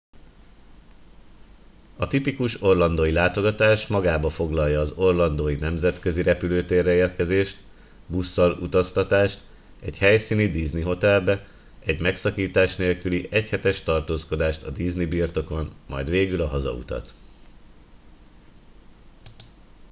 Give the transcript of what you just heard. a tipikus orlandói látogatás magába foglalja az orlandó i nemzetközi repülőtérre érkezést busszal utaztatást egy helyszíni disney hotelbe egy megszakítás nélküli egyhetes tartózkodást a disney birtokon majd végül a hazautat